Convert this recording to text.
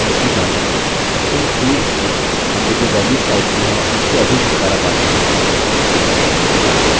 इस भाग में हम इन फॉर्म्स की मौजूदगी जाँचेंगे इन फील्ड्स में हमने जो वेल्यूस टाइप की हैं उनसे अभी छुटकारा पाते हैं